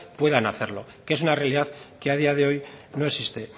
puedan hacerlo que es una realidad que a día de hoy no existe